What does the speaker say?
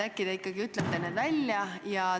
Äkki te ikkagi ütlete selle välja?